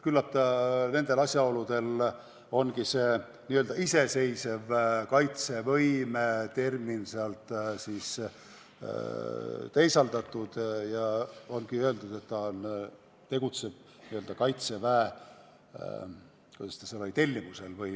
Küllap nendel asjaoludel ongi see iseseisva kaitsevõime termin sealt teisaldatud ja öeldud, et ta tegutseb Kaitseväe – kuidas ta seal oli?